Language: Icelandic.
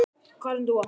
Karen Dúa.